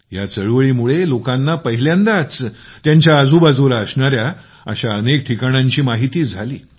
या चळवळीमुळे लोकांना पहिल्यांदाच त्यांच्या आजूबाजूला असणाऱ्या अशा अनेक ठिकाणांची माहिती झाली